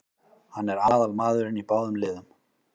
Hann er aðalmaðurinn í báðum liðum.